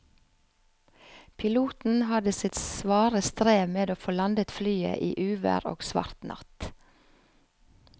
Piloten hadde sitt svare strev med å få landet flyet i uvær og svart natt.